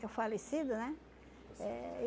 Que é o falecido, né? Eh